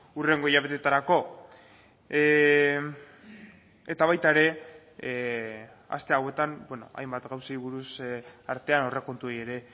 hurrengo hilabeteetarako eta baita ere aste hauetan hainbat gauzei buruz artean aurrekontuei ere